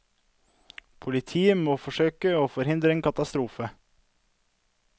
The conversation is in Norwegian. Politiet må forsøke å forhindre en katastrofe.